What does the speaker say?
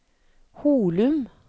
Holum